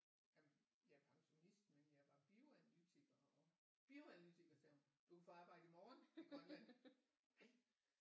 Jamen jeg er pensonist men jeg var bioanalytiker bioanalytiker sagde hun du kan få arbejde i morgen i Grønland